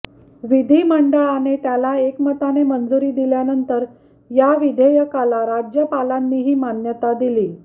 विधीमंडळाने त्याला एकमताने मंजुरी दिल्यानंतर या विधेयकाला राज्यपालांनीही मान्यता दिली